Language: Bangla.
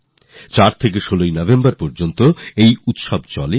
৪ নভেম্বর থেকে ১৯ নভেম্বর পর্যন্ত এই উৎসব ছিল